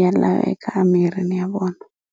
ya laveka mirini ya vona.